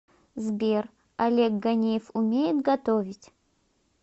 сбер олег ганеев умеет готовить